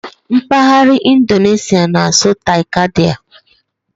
M̀paghara Indoneshịa na-asụ '"Tai-Kadai"